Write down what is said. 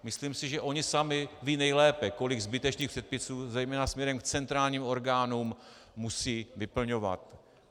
Myslím si, že oni sami vědí nejlépe, kolik zbytečných předpisů zejména směrem k centrálním orgánům musí vyplňovat.